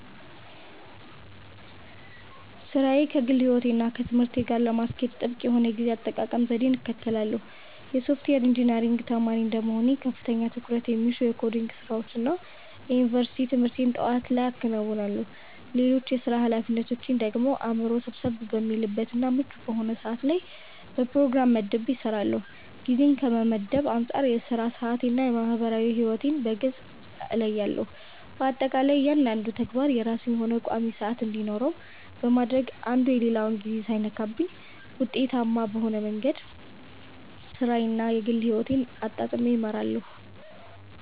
ሥራዬን ከግል ሕይወቴ እና ከትምህርቴ ጋር ለማስኬድ ጥብቅ የሆነ የጊዜ አጠቃቀም ዘዴን እከተላለሁ። የሶፍትዌር ኢንጂነሪንግ ተማሪ እንደመሆኔ ከፍተኛ ትኩረት የሚሹ የኮዲንግ ስራዎችን እና የዩኒቨርሲቲ ትምህርቴን ጠዋት ላይ አከናውናለሁ። ሌሎች የሥራ ኃላፊነቶቼን ደግሞ አእምሮዬ ሰብሰብ በሚልበት እና ምቹ በሆነ ሰዓት ላይ በፕሮግራም መድቤ እሰራዋለሁ። ጊዜን ከመመደብ አንፃር የሥራ ሰዓቴን እና የማህበራዊ ሕይወቴን በግልጽ እለያለሁ። በአጠቃላይ እያንዳንዱ ተግባር የራሱ የሆነ ቋሚ ሰዓት እንዲኖረው በማድረግ አንዱ የሌላውን ጊዜ ሳይነካብኝ ውጤታማ በሆነ መንገድ ሥራዬን እና የግል ሕይወቴን አጣጥሜ እመራለሁ።